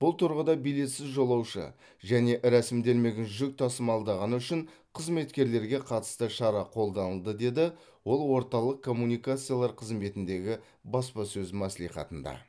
бұл тұрғыда билетсіз жолаушы және рәсімделмеген жүк тасымалдағаны үшін қызметкерлерге қатысты шара қолданылды деді ол орталық коммуникациялар қызметіндегі баспасөз мәслихатында